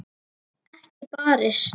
Ekki barist.